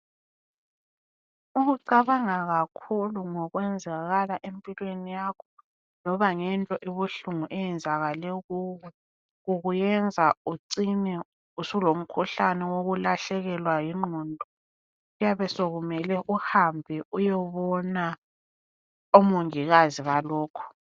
Umucabanga kakhulu ngokwenzakala empilweni yakho loba ngento ebuhlungu eyenzakale kuwe, kukuyenza ucine usulomkhuhlane wokulahlekelwa yingqondo. Kuyabe sekumele uhambe uyebona omongikazi balokho.